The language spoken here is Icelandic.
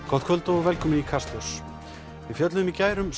gott kvöld og velkomin í Kastljós kastljós fjallaði í gær um